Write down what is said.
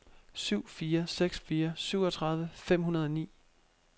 syv fire seks fire syvogtredive fem hundrede og ni